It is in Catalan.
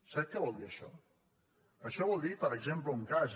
sap què vol dir això això vol dir per exemple un cas